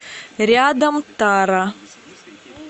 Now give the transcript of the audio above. рядом тара